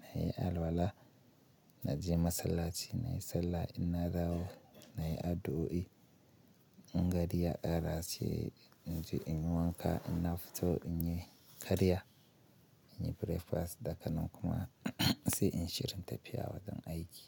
na yi alwala, na je masallaci na yi sallah, in na dawo na yi addu'o'i, in gari ya kara haske in je in yi wanka, ina fito in yi karya, in yi breakfast, daga nan kuma sai in shirin tafiya wajen aiki.